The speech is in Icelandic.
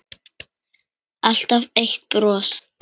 Alltaf eitt bros.